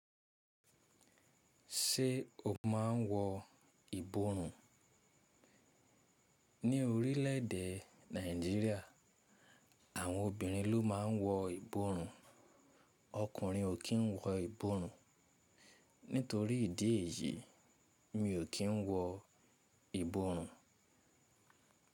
Ṣé o máa ń wọ ìborùn? Ní orílẹ̀ èdè Nàìjíríà, àwọn obìnrin ló máa ń wọ ìborùn, ọkùnrin ò kí ń wọ ìborùn. Nítorí ìdí èyí, mí ò kí ń wọ ìborùn.